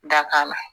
Dakan na